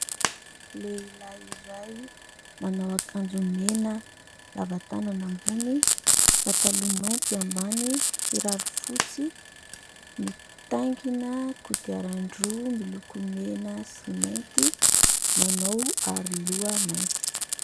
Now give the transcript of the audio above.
Lehilahy iray manao akanjo mena lavatanana ambony, pataloha mainty ambany, kiraro fotsy, mitaingina kodiaran-droa miloko mena sy mainty manao aro loha mainty.